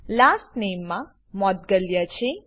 last નામે મા મોઉંદ્ગલ્યા છે